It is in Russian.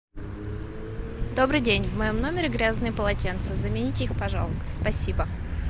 добрый день в моем номере грязные полотенца замените их пожалуйста спасибо